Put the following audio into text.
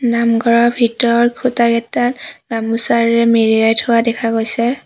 নামঘৰৰ ভিতৰৰ খুঁটাকেইটা গামোচাৰে মেৰিয়াই থোৱা দেখা গৈছে।